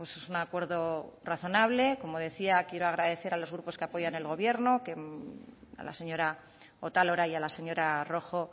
es un acuerdo razonable como decía quiero agradecer a los grupos que apoyan al gobierno a la señora otalora y a la señora rojo